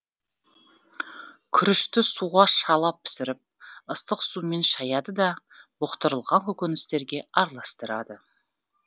күрішті суға шала пісіріп ыстық сумен шаяды да бұқтырылған көкөністерге араластырады